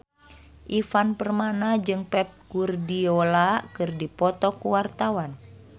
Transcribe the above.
Ivan Permana jeung Pep Guardiola keur dipoto ku wartawan